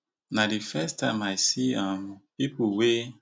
na di first time i see um pipo wey